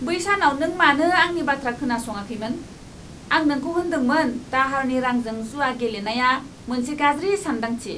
बै सानाव नों मानो आंनि बाथ्रा खोनासङाखैमोन? आं नोंखौ होन्दोंमोन दाहारनि रांजों जुआ गेलेनाया मोनसे गाज्रि सानदांथि।